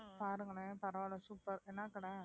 பாருங்களேன் பரவாயில்லை super என்ன கடை